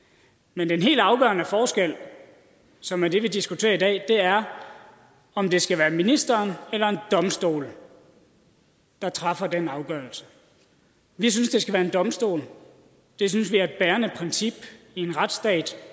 men den helt afgørende forskel som er det vi diskuterer i dag er om det skal være ministeren eller en domstol der træffer den afgørelse vi synes det skal være en domstol det synes vi er et bærende princip i en retsstat